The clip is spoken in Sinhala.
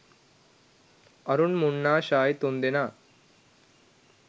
අරුන් මුන්නා ෂායි තුන්දෙනා